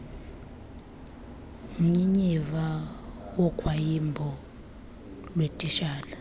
mnyinyiva wogwayimbo lweetitshala